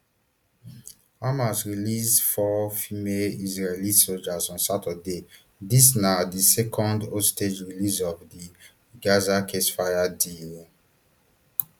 hamas release four female israeli sojas on saturday dis na di second hostage release of di gaza ceasefire deal um